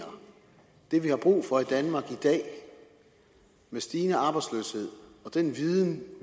det vi har brug for i danmark i dag med stigende arbejdsløshed og den viden